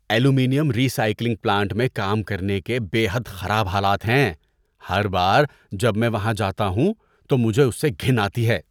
Aluminium recycling plant میں کام کرنے کے بے حد خراب حالات ہیں، ہر بار جب میں وہاں جاتا ہوں تو مجھے اس سے گھن آتی ہے۔